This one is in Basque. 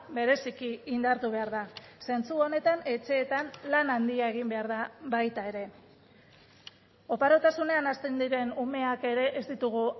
bereziki indartu behar da zentzu honetan etxeetan lan handia egin behar da baita ere oparotasunean hasten diren umeak ere ez ditugu